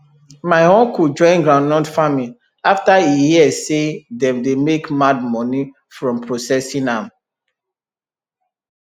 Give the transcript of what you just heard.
my uncle join groundnut farming after e hear say dem dey make mad money from processing am